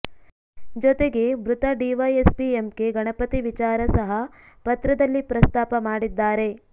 ಜೊತೆಗೆ ಮೃತ DYSP MK Ganapathi ವಿಚಾರ ಸಹ ಪತ್ರದಲ್ಲಿ ಪ್ರಸ್ತಾಪ ಮಾಡಿದ್ದಾರೆ